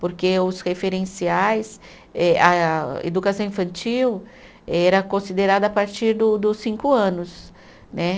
Porque os referenciais, eh a educação infantil era considerada a partir do dos cinco anos né.